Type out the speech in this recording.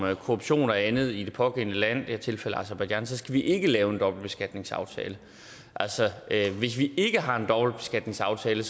og korruption og andet i det pågældende land i det her tilfælde aserbajdsjan så skal vi ikke lave en dobbeltbeskatningsaftale altså at hvis vi ikke har en dobbeltbeskatningsaftale